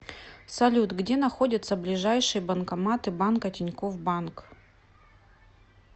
салют где находятся ближайшие банкоматы банка тинькофф банк